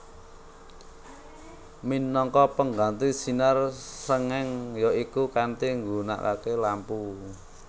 Minangka pengganti sinar srengeng ya iku kanthi nggunakake lampu